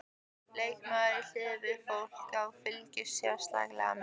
Leikmaður í liðinu sem fólk á að fylgjast sérstaklega með?